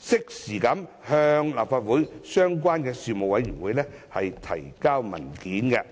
及適時向立法會相關的事務委員會提交文件。